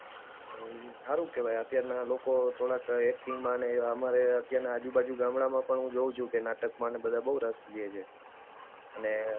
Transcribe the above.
હારુ કહેવાય અત્યારના લોકો થોડાક એક્ટિંગમાં અને આમાં અત્યારના આજુબાજુ ગામડાના લોકો પણ હું જોઉં છું કે નાટક માને બધે બહુ રસ લે છે અને